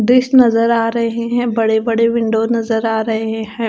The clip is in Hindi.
दृश्य नजर आ रहे हैं बड़े बड़े विंडो नजर आ रहे हैं।